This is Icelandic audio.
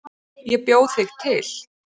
Ég bjó þig til.